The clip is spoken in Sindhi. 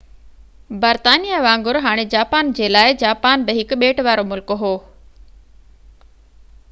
هاڻي جاپان جي لاءِ جاپان بہ هڪ ٻيٽ وارو ملڪ هو برطانيا وانگر